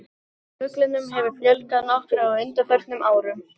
Fuglunum hefur fjölgað nokkuð á undanförnum árum.